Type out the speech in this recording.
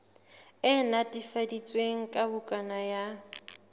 e netefaditsweng ya bukana ya